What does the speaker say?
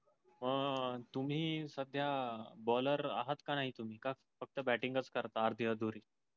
तुम्ही सध्या bowler आहात का नाही तुम्ही का फक्त batting च करता आधी -अधुरी